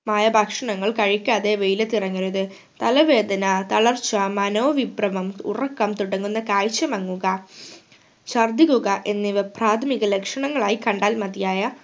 മായ ഭക്ഷണങ്ങൾ കഴിക്കാതെ വെയിലത്തു ഇറങ്ങരുത് തലവേദന തളർച്ച മനോവിഭ്രമം ഉറക്കം തുടങ്ങുന്ന കാഴ്ച മങ്ങുക ഛർദിക്കുക എന്നിവ പ്രാഥമിക ലക്ഷണങ്ങളായി കണ്ടാൽ മതിയായ